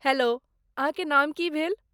Hello, अहाँके नाम की भेल?